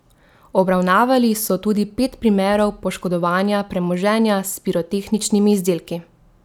Obravnavali so tudi pet primerov poškodovanja premoženja s pirotehničnimi izdelki.